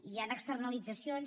hi han externalitzacions